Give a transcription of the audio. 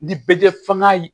Ni bɛ kɛ fanga ye